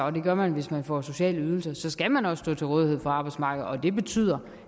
og det gør man hvis man får sociale ydelser så skal man også stå til rådighed for arbejdsmarkedet og det betyder